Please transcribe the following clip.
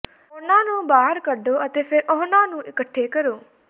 ਉਨ੍ਹਾਂ ਨੂੰ ਬਾਹਰ ਕੱਢੋ ਅਤੇ ਫਿਰ ਉਹਨਾਂ ਨੂੰ ਇਕੱਠੇ ਕਰੋ